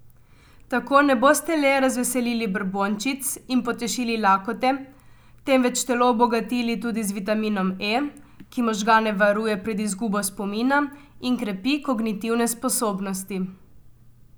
Tako ne boste le razveselili brbončic in potešili lakote, temveč telo obogatili tudi z vitaminom E, ki možgane varuje pred izgubo spomina in krepi kognitivne sposobnosti.